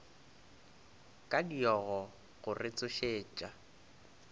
ka diogo go re tsošetša